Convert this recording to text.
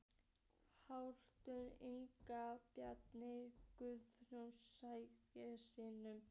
Haukur Ingi og Bjarni Guðjóns Sætasti sigurinn?